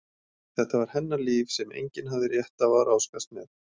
Þetta var hennar líf sem enginn hafði rétt á að ráðskast með.